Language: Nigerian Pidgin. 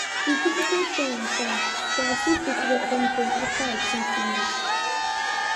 di visitor show on time but i still fit welcome dem afta i think finish